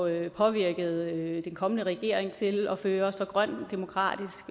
at påvirke den kommende regering til at føre en så grøn og demokratisk